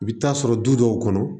I bɛ taa sɔrɔ du dɔw kɔnɔ